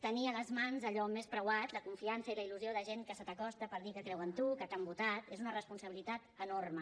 tenir a les mans allò més preuat la confiança i la il·lusió de gent que se t’acosta per dir que creu en tu que t’han votat és una responsabilitat enorme